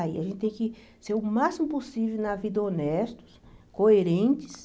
Aí. A gente tem que ser o máximo possível na vida honestos, coerentes,